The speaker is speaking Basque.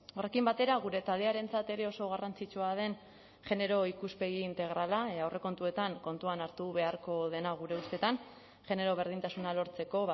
horrekin batera gure taldearentzat ere oso garrantzitsua den genero ikuspegi integrala aurrekontuetan kontuan hartu beharko dena gure ustetan genero berdintasuna lortzeko